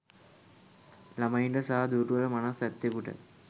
ළමයින්ට සහ දුර්වල මනස් ඇත්තෙකුට